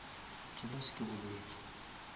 jealous ke bolwetši